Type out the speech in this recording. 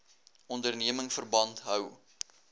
onderneming verband hou